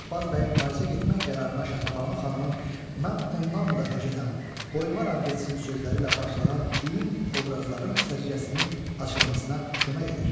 Şahbaz bəyin Parisə getmək qərarına Şəhrəbanu xanımın “Mən ondan da höcətəm, qoymaram getsin” sözləri ilə başlanan düyün obrazların səciyyəsinin açılmasına kömək edir.